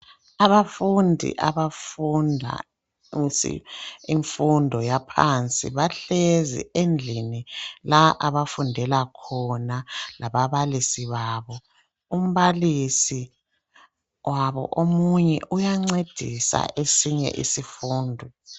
Abafundi abafunda imfundo yaphansi bahlezi endlini la abafundela khona lababalisi babo umbalisi wabo omunye uyancedisa esinye isifundo.